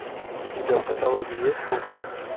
у тебя в каталоге есть вулкан